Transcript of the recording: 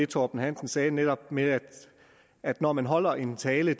torben hansen sagde netop med at når man holder en tale